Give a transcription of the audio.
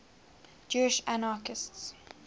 jewish anarchists